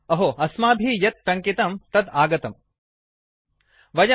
अहो अस्माभिः यत् टङ्कितं तत् आगतम्